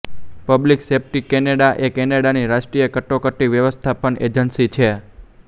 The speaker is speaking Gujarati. પબ્લિક સેફ્ટી કૅનેડા એ કૅનેડાની રાષ્ટ્રીય કટોકટી વ્યવસ્થાપન એજન્સી છે